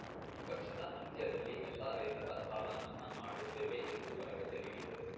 ಈ ವರ್ಷದ ಅಂತ್ಯದಲ್ಲಿ ಎಲ್ಲಾ ರೈತರ ಸಾಲ ಮನ್ನಾ ಮಾಡುತ್ತೇವೆ ಎಂದು ಭರವಸೆ ನೀಡಿದರು